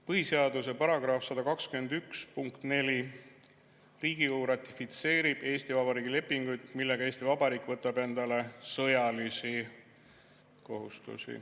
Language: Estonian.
Põhiseaduse § 121 punkt 4: Riigikogu ratifitseerib Eesti Vabariigi lepingud, millega Eesti Vabariik võtab endale sõjalisi kohustusi.